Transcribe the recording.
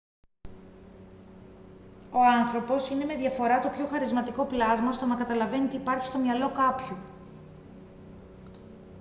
ο άνθρωπος είναι με διαφορά το πιο χαρισματικό πλάσμα στο να καταλαβαίνει τι υπάρχει στο μυαλό κάποιου